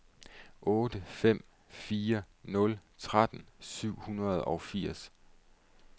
otte fem fire nul tretten syv hundrede og firs